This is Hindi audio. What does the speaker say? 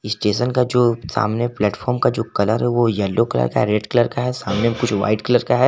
स्टेशन का जो सामने प्लेटफार्म का जो कलर है ओ येलो कलर का रेड कलर का है सामने कुछ व्हाइट कलर का है।